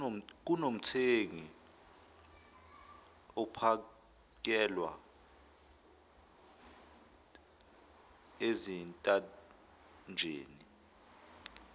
kunomthengi ophakelwa ezintanjeni